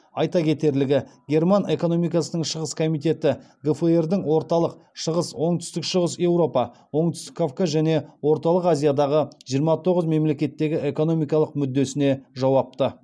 айта кетерлігі герман экономикасының шығыс комитеті гфр дың орталық шығыс оңтүстік шығыс еуропа оңтүстік кавказ және орталық азиядағы жиырма тоғыз мемлекеттегі экономикалық мүддесіне жауапты